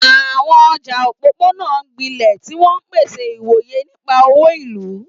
Àwọn ọjà òpópónà ń gbilẹ̀, tí wọ́n ń pèsè ìwòye nípa òwò ìlú.